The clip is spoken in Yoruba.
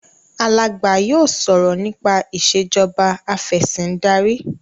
Alagba yóò sọrọ nípa Ìṣèjọba Afẹ̀sìndarí